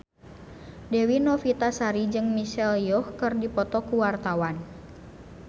Dewi Novitasari jeung Michelle Yeoh keur dipoto ku wartawan